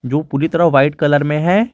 जो पूरी तरह व्हाइट कलर में है।